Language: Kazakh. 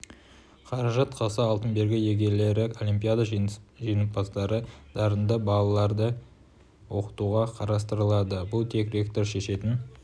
қаражат қалса алтын белгі иегерлері олимпиада жеңімпаздары дарынды балаларды оқытуға қарастырылады бұл тек ректор шешетін